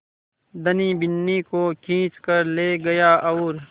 धनी बिन्नी को खींच कर ले गया और